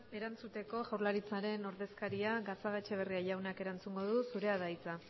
erantzuteko jaurlaritzaren ordezkariak gatxagaetxebarria jaunak erantzungo du zurea da hitza